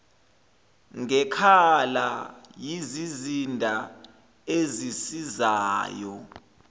ngekhala yizizinda ezisizayo